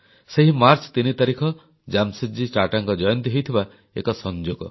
ସେହି ମାର୍ଚ୍ଚ 3 ତାରିଖ ଜାମଶେଦଜୀ ଟାଟାଙ୍କ ଜୟନ୍ତୀ ହୋଇଥିବା ଏକ ସଂଯୋଗ